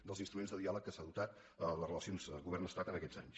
dels instruments de diàleg de què s’ha dotat les relacions govern estat en aquests anys